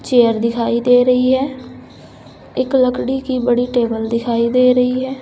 Chair दिखाई दे रही है एक लकड़ी की बड़ी टेबल दिखाई दे रही है।